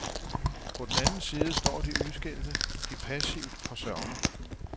På den anden side står de udskilte, de passivt forsørgede.